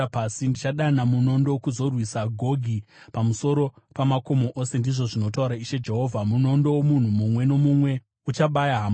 Ndichadana munondo kuzorwisa Gogi pamusoro pamakomo ose, ndizvo zvinotaura Ishe Jehovha. Munondo womunhu mumwe nomumwe uchabaya hama yake.